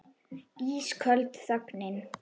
Ísköld þögnin.